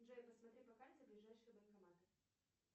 джой посмотри по карте ближайшие банкоматы